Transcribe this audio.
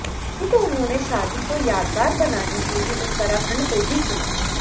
तभी तो उन्होंने शादी को यादगार बनाने के लिए उत्तराखंड को ही चुना